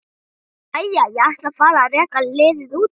Jæja, ég ætla að fara að reka liðið út.